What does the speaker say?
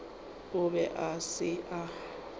o be a se a